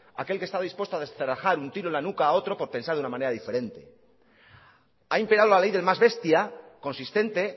aquel que está dispuesto a descerrajar un tiro en la nuca por pensar de una manera diferente ha imperado la ley del más bestia consistente